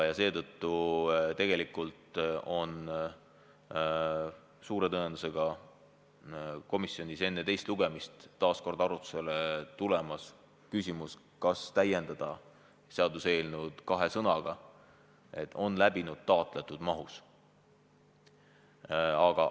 Seetõttu tuleb komisjonis tõenäoliselt enne teist lugemist taas arutusele küsimus, kas täiendada seaduseelnõu sõnadega "on läbinud taotletud mahus" vms.